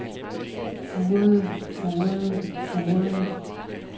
furede furede furede